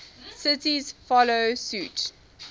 cities follow suit